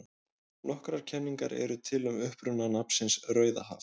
Nokkrar kenningar eru til um uppruna nafnsins Rauðahaf.